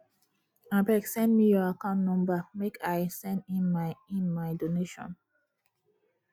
abeg send me your account number make i send in my in my donation